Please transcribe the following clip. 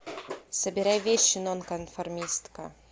собирай вещи нонконформистка